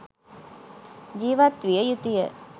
ජීවත් විය යුතු ය.